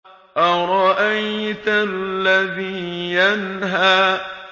أَرَأَيْتَ الَّذِي يَنْهَىٰ